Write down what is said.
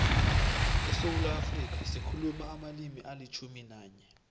esewula afrika sikhuluma amalimi alitjhumi nanye